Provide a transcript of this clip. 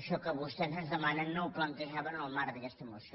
això que vostès ens demanen no ho plantejaven en el marc d’aquesta moció